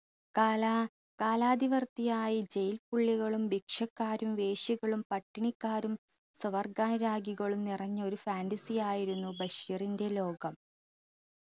കാലാ കാലാതിവർത്തിയായി jail പുള്ളികളും ഭിക്ഷക്കാരും വേശ്യകളും പട്ടിണിക്കാരും സുവർഗാനുരാഗികളും നിറഞ്ഞ ഒരു fantasy യായിരുന്നു ബഷീറിന്റെ ലോകം